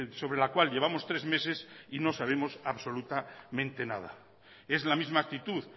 sobre la cual llevamos tres meses y no sabemos absolutamente nada es la misma actitud